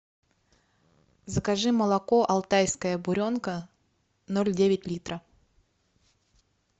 закажи молоко алтайская буренка ноль девять литра